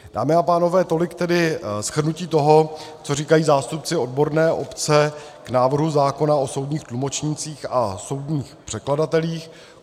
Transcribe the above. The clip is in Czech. Dámy a pánové, tolik tedy shrnutí toho, co říkají zástupci odborné obce k návrhu zákona o soudních tlumočnících a soudních překladatelích.